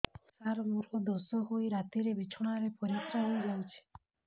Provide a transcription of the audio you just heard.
ସାର ମୋର ଦୋଷ ହୋଇ ରାତିରେ ବିଛଣାରେ ପରିସ୍ରା ହୋଇ ଯାଉଛି